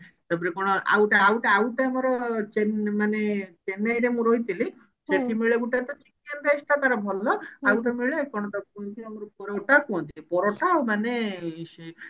ତାପରେ କଣ ଆଉଟେ ଆଉଟେ ଆଉଟେ ଆମର ଚେ ମାନେ ଚେନ୍ନାଇ ରେ ମୁଁ ରହିଥିଲି ଗୁଟେ ତ chicken rice ଟା ତାର ଭଲ ଆଉ ଟେ ମିଳେ କଣ ତାକୁ କୁହନ୍ତି ଆମର ପରୋଟା କୁହନ୍ତି ପରୋଟା ମାନେ ସେ